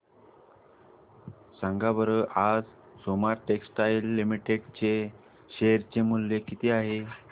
सांगा बरं आज सोमा टेक्सटाइल लिमिटेड चे शेअर चे मूल्य किती आहे